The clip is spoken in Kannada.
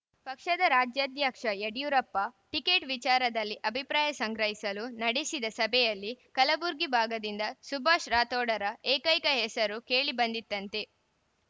ಪಕ್ಷದ ರಾಜ್ಯಾಧ್ಯಕ್ಷ ಯಡಿಯೂರಪ್ಪ ಟಿಕೆಟ್‌ ವಿಚಾರದಲ್ಲಿ ಅಭಿಪ್ರಾಯ ಸಂಗ್ರಹಿಸಲು ನಡಡಿಸಿದ ಸಭೆಯಲ್ಲಿ ಕಲಬುರಗಿ ಭಾಗದಿಂದ ಸುಭಾಸ್‌ ರಾಠೋಡರ ಏಕೈಕ ಹೆಸರು ಕೇಳಿ ಬಂದಿತ್ತಂತೆ